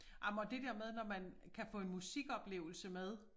Ej men og det der med når man kan få en musikoplevelse med